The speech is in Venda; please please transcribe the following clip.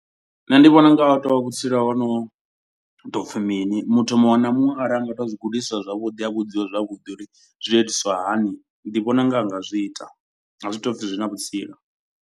Nṋe ndi vhona unga ahu tovha vhutsila hono ḓopfi mini. Muthu muṅwe na muṅwe arali anga tou zwi gudiswa zwavhuḓi a vhudziwa zwavhuḓi uri zwi itiswa hani. Ndi vhona unga a nga zwi ita a zwi to u pfhi zwi na vhutsila.